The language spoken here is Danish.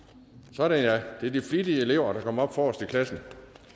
sådan ja det er de flittige elever der kommer op forrest i klassen